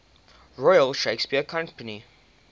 royal shakespeare company